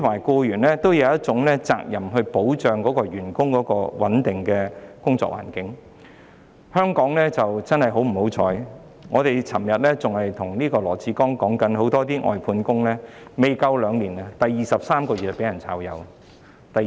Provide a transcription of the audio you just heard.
僱主有責任保障員工有一個穩定的工作環境，很不幸，正如我們昨天告訴羅致光，香港有很多外判員工在工作差不多兩年時，在第二十三個月被解僱。